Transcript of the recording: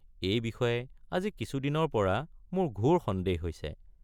এই বিষয়ে আজি কিছু দিনৰ পৰা মোৰ ঘোৰ সন্দেহ হৈছে।